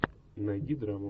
найди драму